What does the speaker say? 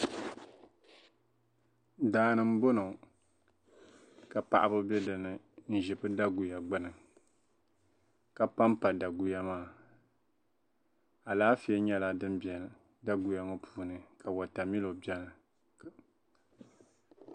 Daa ni m-bɔŋɔ ka paɣiba be dinni n-ʒi bɛ daguya gbini ka pampa daguya maa. Alaafee nyɛla din beni daguya ŋɔ puuni ka watamilo beni.